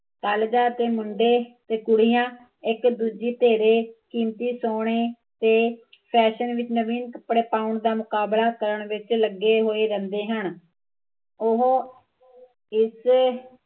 ਅੱਜ ਕੱਲ ਦੇ ਮੁੰਡੇ ਕੁੜੀਆ, ਇੱਕ ਦੂਜੇ ਧੀਰੇ, ਕੀਮਤੀ ਸੋਹਣੇ ਤੇ ਫੈਸ਼ਨ ਵਿੱਚ ਨਵੇ ਕੱਪੜੇ ਪਾਉਣ ਦਾ ਮੁਕਾਬਲਾ ਕਰਨ ਵਿੱਚ ਲੱਗੇ ਹੋਏ ਰਹਿੰਦੇ ਹਨ ਉਹ ਕਿਸੇ